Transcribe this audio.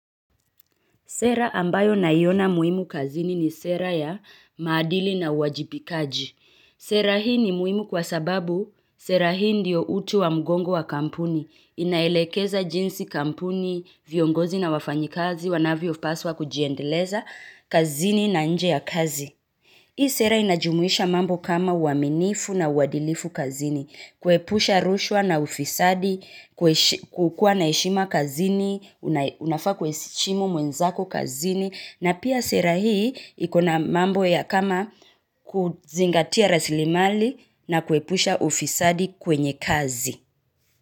Sera ambayo naiona muhimu kazini ni sera ya maadili na uwajibikaji. Sera hii ni muhimu kwa sababu, sera hii ndiyo utu wa mgongo wa kampuni, inaelekeza jinsi kampuni, viongozi na wafanyikazi, wanavyopaswa kujiendeleza kazini na nje ya kazi. Hii sera inajumuisha mambo kama uaminifu na uwadilifu kazini, kuepusha rushwa na ufisadi, kukua na heshima kazini, unafaa kuheshimu mwenzako kazini, na pia sera hii ikona mambo ya kama kuzingatia rasilimali na kuepusha ufisadi kwenye kazi.